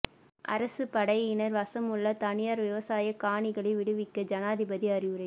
அரச படையினர் வசமுள்ள தனியார் விவசாய காணிகளை விடுவிக்க ஜனாதிபதி அறிவுரை